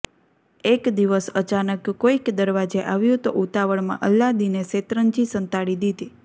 એક દિવસ અચાનક કોઈક દરવાજે આવ્યું તો ઉતાવળમાં અલ્લાદીને શેતરંજી સંતાડી દીધી